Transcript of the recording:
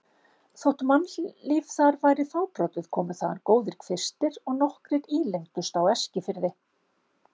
Þótt mannlíf þar væri fábrotið komu þaðan góðir kvistir og nokkrir ílengdust á Eskifirði.